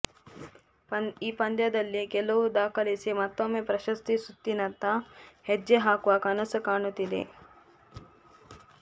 ಈ ಪಂದ್ಯದಲ್ಲಿ ಗೆಲುವು ದಾಖಲಿಸಿ ಮತ್ತೊಮ್ಮೆ ಪ್ರಶಸ್ತಿ ಸುತ್ತಿನತ್ತ ಹೆಜ್ಜೆ ಹಾಕುವ ಕನಸು ಕಾಣುತ್ತಿದೆ